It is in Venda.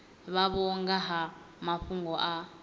vhavho nga ha mafhungo a